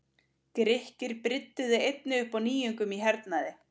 Grikkir brydduðu einnig upp á nýjungum í hernaði.